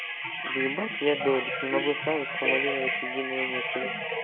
ебать я додик не могу сразу сформулировать единую мысль